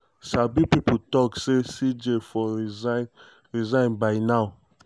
sabi pipo tok say cj for resign resign by now.